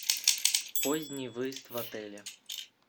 поздний выезд в отеле